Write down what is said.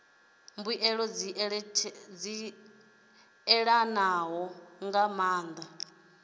mbuelo dzi ṋetshedzwa nga maanḓa